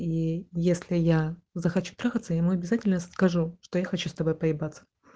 если я захочу т и мы обязательно скажу что я хочу с тобой п